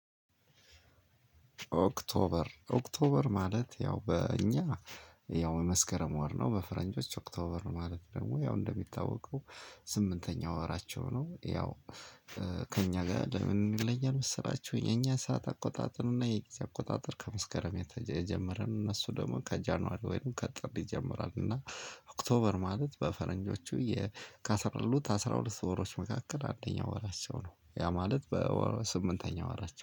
ኦክቶበር ኦክቶበር ማለት ያው በእኛ ያው የመስከረም ወር ነው በፈረንጆች ኦክቶበር ማለት ደግሞ ያው እንደሚታወቀው ስምንተኛው ወራቸው ነው። ያው ከእኛ ጋር ለምን ይለያል? መሰላቹ የእኛ ሰዓት አቆጣጠር እና የጊዜ አቆጣጠር ከመስከረም የተጀ የጀመርን እነሱ ደግሞ ከጃንዋሪ ወይንም ከጥር ይጀምራል እና ኦክቶበር ማለት በፈረንጆቹ የ ከአስራሁለ ካሉት አስራ ሁለት ወሮች መካከል አንደኛው ወራቸው ነው ያ ማለት በስምንተኛው ወራቸው